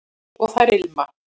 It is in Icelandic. og þær ilma